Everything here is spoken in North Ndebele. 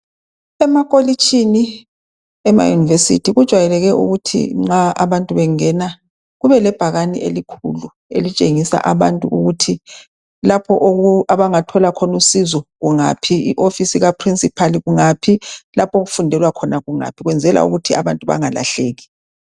Emakolitshini, emayunivesithi kujayeleke ukuthi nxa abantu bengena kubelebhakane elikhulu elitshengisa abantu ukuthi lapho abangathola khona usizo kungaphi, ioffice kaprincipal kungaphi, lapho okufundelwa khona kungaphi loku kwenzelwa ukuthi abantu bangalahleki.